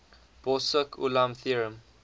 borsuk ulam theorem